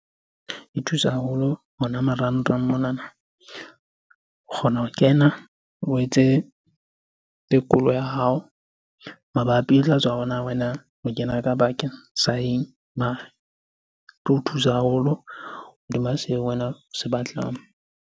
E thusa haholo hona marangrang monana. O kgona ho kena o etse tekolo ya hao mabapi, tla tswa hore na wena o kena ka bakeng sa eng? Mare, tlo o thusa haholo hodima seo wena o se batlang.